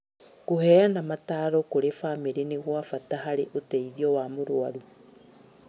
Kũheana mataro kũrĩ bamĩrĩ nĩ gwa bata harĩ ũteithio wa mũrwaru